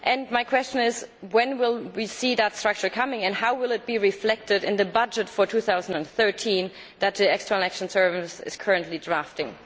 My question is, when will we see that structure and how will it be reflected in the budget for 2013 that the External Action Service is currently drafting?